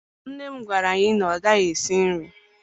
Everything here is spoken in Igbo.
Nne m gwara anyị na ọ gaghị esi nri